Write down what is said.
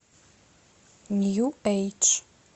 нью эйдж